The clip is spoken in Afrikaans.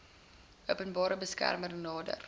openbare beskermer nader